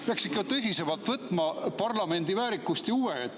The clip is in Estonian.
Peaks ikka tõsisemalt võtma parlamendi väärikust ja huve.